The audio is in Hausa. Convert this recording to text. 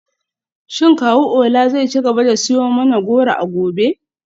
Shin kawu Ola zai ci gaba da siyo mana goro a gobe?